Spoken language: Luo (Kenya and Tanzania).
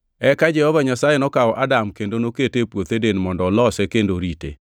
Eka Jehova Nyasaye nokawo Adam kendo nokete e puoth Eden mondo olose kendo orite.